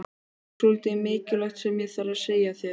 Ég hef svolítið mikilvægt sem ég þarf að segja þér.